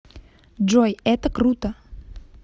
джой это круто